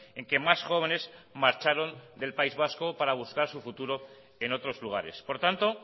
en que más jóvenes marcharon del país vasco para buscar su futuro en otros lugares por tanto